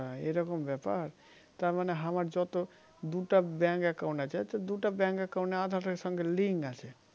হা এরকম ব্যাপার তার মানে আমার যত দুটা Bank account আছে তো দুটা Bank account এ aadhar এর সঙ্গে link আছে